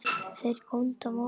Þeir góndu á móti.